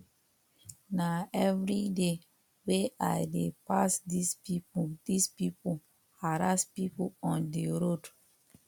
nah everyday wey i dey pass this people this people harass people on the road